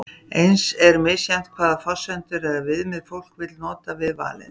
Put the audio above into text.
Eins er misjafnt hvaða forsendur eða viðmið fólk vill nota við valið.